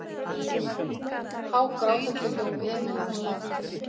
Hágrátandi hljóp Emil af stað.